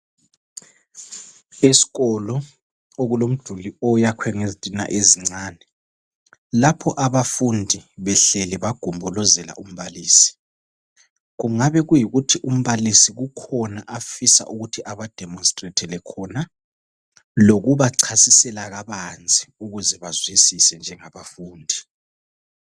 Isikolo okulomduli oyakhwe ngezitina ezincani lapho abafundi behleli bagombolozela umbalisi kungabe kuyikuthi umbalisi kukhona afisa ukuthi ana demonstrethele khona lokuba chasisela kabanzi ukuze bazwisise njengabafundi